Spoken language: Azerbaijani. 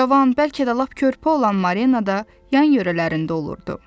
Cavan, bəlkə də lap körpə olan Marina da yan-yörələrində olurdu.